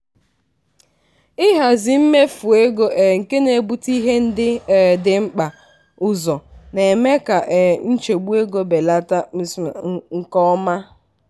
ịhazi mmefu ego um nke na-ebute ihe ndị um dị mkpa ụzọ na-eme ka um nchegbu ego belata nke ọma.